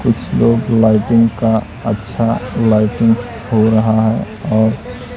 कुछ लोग लाइटिंग का अच्छा लाइटिंग हो रहा है ओर--